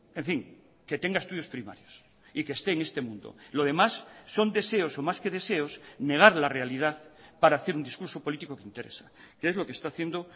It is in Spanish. en fin que tenga estudios primarios y que esté en este mundo lo demás son deseos o más que deseos negar la realidad para hacer un discurso político que interesa que es lo que está haciendo